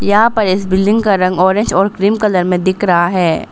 यहां पर इस बिल्डिंग का रंग ऑरेंज और क्रीम कलर में दिख रहा है।